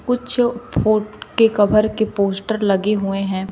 कुछ फोन के कवर के पोस्टर लगे हुए हैं।